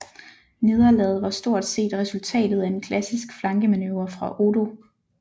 Nederlaget var stort set resultatet af en klassisk flankemanøvre fra Odo